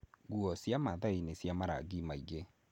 Nguo cia maathai nĩ cia marangi maingĩ.